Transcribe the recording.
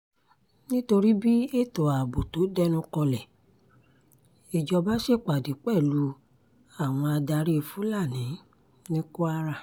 nítorí bí ètò ààbò tó dẹnukọlẹ̀ ìjọba ṣèpàdé pẹ̀lú àwọn adarí fúlàní ní kwara